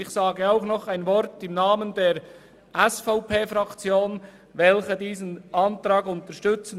Ich sage noch ein Wort im Namen der SVP-Fraktion, welche diesen Antrag unterstützt.